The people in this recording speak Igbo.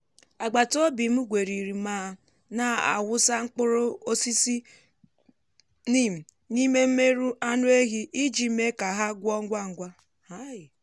agbataobi m gweriri ma na-awụsa mkpụrọ osisi neem n’ime mmerụ anụ ehi iji mee ka ha gwọọ ngwa ngwa.